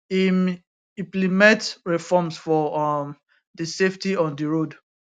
im implement reforms for um di safety on di road